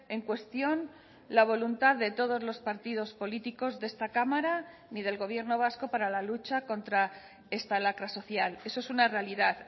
en cuestión la voluntad de todos los partidos políticos de esta cámara ni del gobierno vasco para la lucha contra esta lacra social eso es una realidad